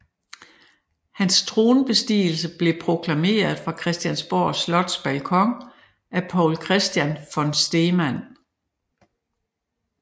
Hans tronbestigelse blev proklameret fra Christiansborg Slots balkon af Poul Christian von Stemann